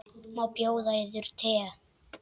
Má bjóða yður te?